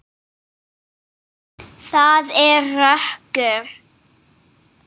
Það er rökkur.